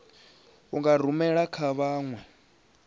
u dzi rumela kha vhanwe